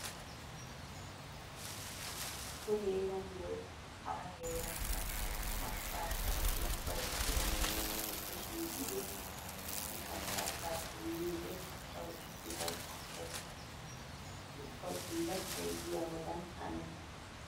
Nu heeran woykko hara heerankka macca asay ubbay coratti issippe shiiqidi issisan kattaa punniyode tawu issibay qofettees. Ubba bullachchay diyabadan hanees.